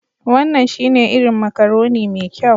Wannan shine irin macaroni mai kyau